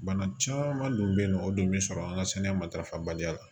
Bana caman dun bɛ ye nɔ o dun bɛ sɔrɔ an ka sɛnɛ matarafabaliya